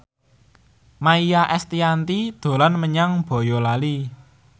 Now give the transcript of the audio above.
Maia Estianty dolan menyang Boyolali